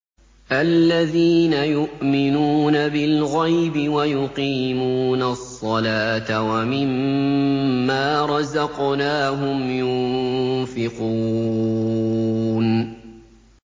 الَّذِينَ يُؤْمِنُونَ بِالْغَيْبِ وَيُقِيمُونَ الصَّلَاةَ وَمِمَّا رَزَقْنَاهُمْ يُنفِقُونَ